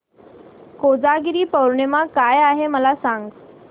कोजागिरी पौर्णिमा काय आहे मला सांग